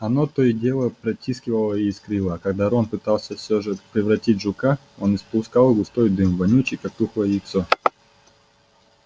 она то и дело потрескивала и искрила а когда рон пытался всё же превратить жука он испускал густой дым вонючий как тухлое яйцо